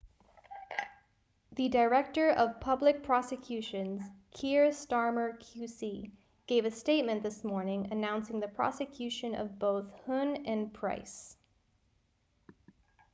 the director of public prosecutions kier starmer qc gave a statement this morning announcing the prosecution of both huhne and pryce